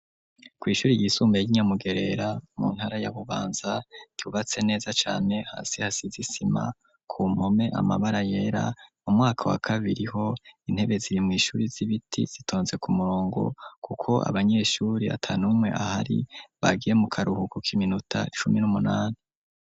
Kw' ishuri ry'isumbaye ry'inyamugerera mu ntara ya bubanza ,yubatse neza cane hasi hasiz 'isima ku mpome amabara yera, mu mwaka wa kabiri ho intebe ziri mw'ishuri z'ibiti zitonze ku murongo kuko abanyeshuri atanumwe ahari ,bagiye mu karuhuku k'iminota icumi n'umunani.